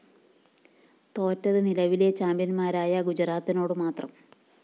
തോറ്റത് നിലവിലെ ചാമ്പ്യന്മാരായ ഗുജറാത്തിനോട് മാത്രം